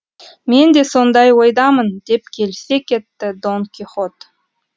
мен де сондай ойдамын деп келісе кетті дон кихот